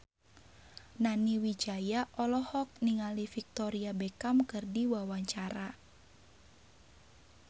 Nani Wijaya olohok ningali Victoria Beckham keur diwawancara